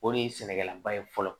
O de ye sɛnɛkɛlaba ye fɔlɔ